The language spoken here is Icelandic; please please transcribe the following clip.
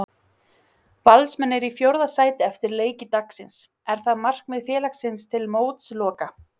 Valsmenn eru í fjórða sæti eftir leiki dagsins, er það markmið félagsins til mótsloka?